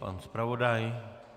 Pan zpravodaj?